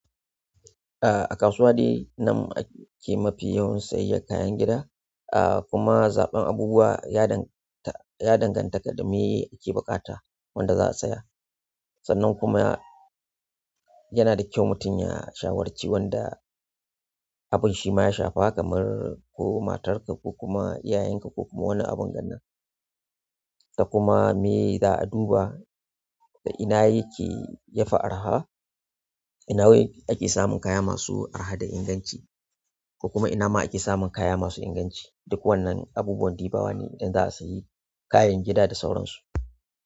A, a kasuwanni namu ake mafi yawan sayayyan kayan gida. A kuma zaɓen abubuwa ya danganta, ya danganta da me ake buƙata wanda za'a saya. Sannan kuma yana da kyau mutum ya shawarci wanda abunshi ma ya shafa kamar ko matarka ko kuma iyayanka ko kuma wani abin ganan. Kuma me za a duba da ina yake yafi araha, ina ake samun kaya masu araha da inganci, ko kuma ina ma ake samun kaya masu inganci. Duk wannan abubuwan diba wa ne idan za'a sayi kayan gida da sauran su.